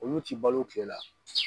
Olu ti balo kile la.